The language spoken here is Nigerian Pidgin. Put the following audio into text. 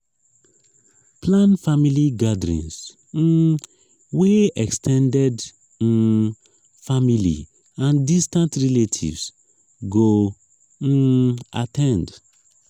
plan family gatherings um wey ex ten ded um family and distant relatives go um at ten d